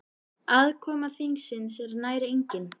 Aðkoma þingsins er nær engin.